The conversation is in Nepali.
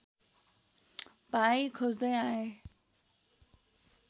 भाइ खोज्दै आए